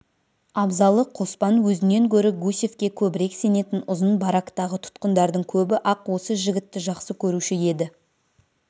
абзалы қоспан өзінен гөрі гусевке көбірек сенетін ұзын барактағы тұтқындардың көбі-ақ осы жігітті жақсы көруші еді